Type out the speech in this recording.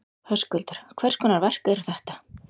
Höskuldur: Hvers konar verk eru þetta?